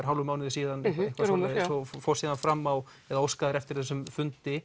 hálfum mánuði síðan og fórst síðan fram á eða óskaðir eftir þessum fundi